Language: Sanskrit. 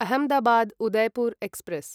अहमदाबाद् उदयपुर् एक्स्प्रेस्